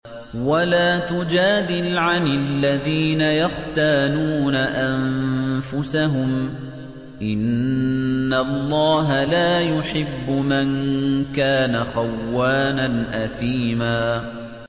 وَلَا تُجَادِلْ عَنِ الَّذِينَ يَخْتَانُونَ أَنفُسَهُمْ ۚ إِنَّ اللَّهَ لَا يُحِبُّ مَن كَانَ خَوَّانًا أَثِيمًا